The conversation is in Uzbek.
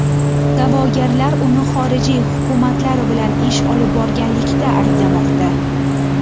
Da’vogarlar uni xorijiy hukumatlar bilan ish olib borganlikda ayblamoqda.